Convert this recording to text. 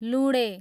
लुँडे